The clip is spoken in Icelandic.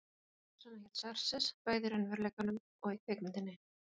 Konungur Persanna hét Xerxes, bæði í raunveruleikanum og í kvikmyndinni.